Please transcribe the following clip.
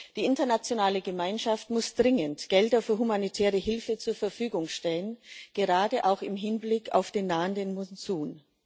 Die internationale Gemeinschaft muss dringend Gelder für humanitäre Hilfe zur Verfügung stellen, gerade auch im Hinblick auf den nahenden Monsun.